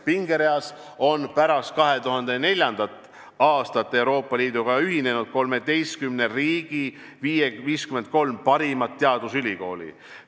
Pingereas on pärast 2004. aastat Euroopa Liiduga ühinenud 13 riigi 53 parimat teadusülikooli.